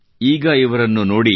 ಈಗ ಇವರನ್ನು ನೋಡಿ